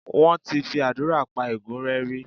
Wọ́n ti fi àdúrà pa ègún rẹ́ rí.